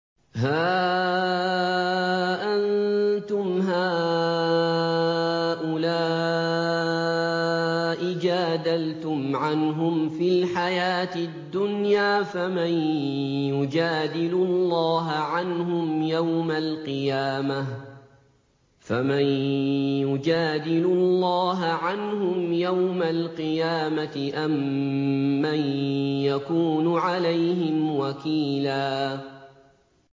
هَا أَنتُمْ هَٰؤُلَاءِ جَادَلْتُمْ عَنْهُمْ فِي الْحَيَاةِ الدُّنْيَا فَمَن يُجَادِلُ اللَّهَ عَنْهُمْ يَوْمَ الْقِيَامَةِ أَم مَّن يَكُونُ عَلَيْهِمْ وَكِيلًا